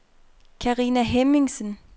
Carina Hemmingsen